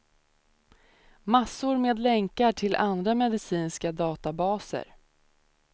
Massor med länkar till andra medicinska databaser.